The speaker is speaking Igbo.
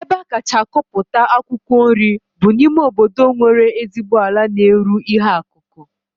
Ebe a kacha akọpụta akwụkwọ nri bụ n'ime obodo nwere ezigbo ala na-eru ihe akụkụ